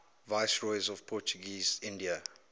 viceroys of portuguese india